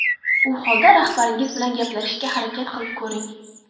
U holda rahbaringiz bilan gaplashishga harakat qilib ko‘ring.